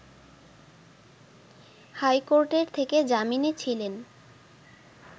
high কোর্টের থেকে জামিনে ছিলেন